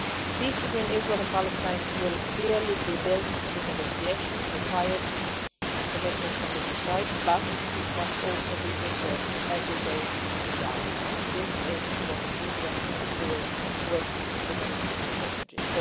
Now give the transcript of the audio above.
Peace between Israel and Palestine will clearly be built through negotiations, which requires a commitment from the two sides, but it must also be preserved every day on the ground and this is what UNWRA is doing with the Palestinian refugees.